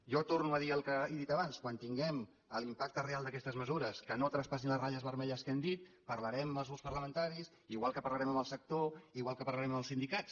jo torno a dir el que he dit abans quan tinguem l’impacte real d’aquestes mesures que no traspassin les ratlles vermelles que hem dit parlarem amb els grups parlamentaris igual que parlarem amb el sector igual que parlarem amb els sindicats